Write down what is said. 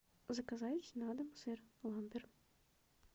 заказать на дом сыр ламбер